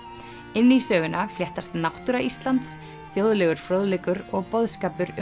inn í söguna fléttast náttúra Íslands þjóðlegur fróðleikur og boðskapur um